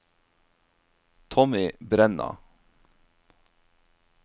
Tommy Brenna